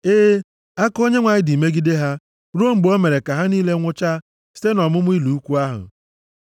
E, aka Onyenwe anyị dị megide ha, ruo mgbe o mere ka ha niile nwụchaa site nʼọmụma ụlọ ikwu ahụ.